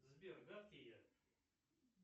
сбер гадкий я